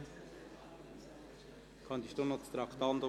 Die Motion 084-2017 Mentha (Liebefeld, SP) ist nicht abzuschreiben.